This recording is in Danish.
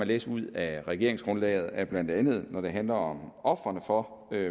læse ud af regeringsgrundlaget at blandt andet når det handler om ofrene for